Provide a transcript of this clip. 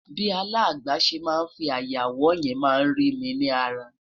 bi alàgbà se má fí aya wò yen ma ri mi ni ara